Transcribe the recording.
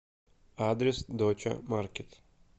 адрес доча маркет